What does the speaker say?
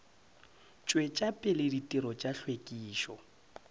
tšwetša pele ditirelo tša hlwekišo